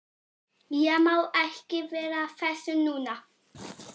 Ég má ekki vera að þessu núna.